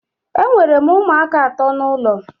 Ee, enwere m ụmụaka ato n'ụlọ